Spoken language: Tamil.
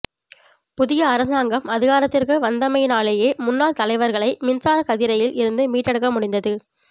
புதிய அரசாங்கம் அதிகாரத்திற்கு வந்தமையினாலேயே முன்னாள் தலைவர்களை மின்சார கதிரையில் இருந்து மீட்டெடுக்க முடிந்தது